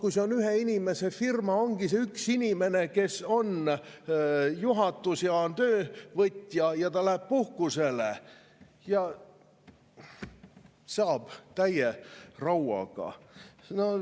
Kui see on ühe inimese firma, siis ongi see üks inimene, kes on juhatus ja on töövõtja, ja ta läheb puhkusele ja saab täie rauaga.